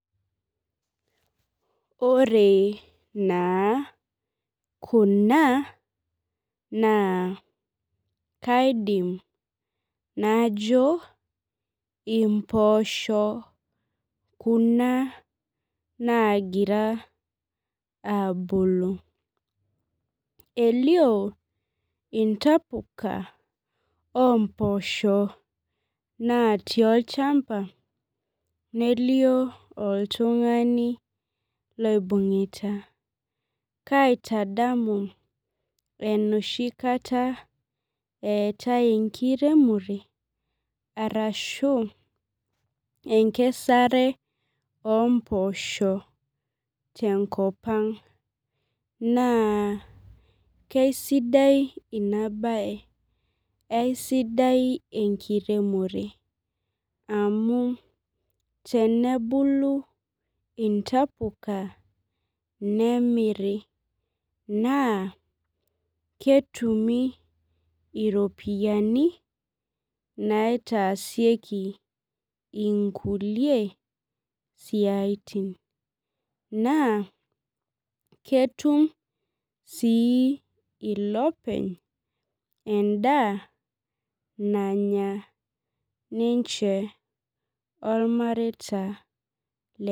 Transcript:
Ore naa kuna, naa kaidim najo impoosho kuna nagira abulu. Elio intapuka ompoosho natii olchamba, nelio oltung'ani loibung'ita. Kaitadamu enoshi kata eetae enkiremore, arashu enkesare ompoosho tenkop ang. Naa kesidai inabae. Aisidai enkiremore amu tenebulu intapuka nemiri. Naa, ketumi iropiyiani naitaasieki inkulie siaitin. Naa, ketum si ilopeny endaa nanya ninche ormareita lenye.